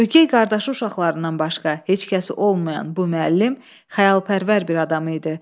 Ögey qardaşı uşaqlarından başqa heç kəs olmayan bu müəllim xəyalpərvər bir adam idi.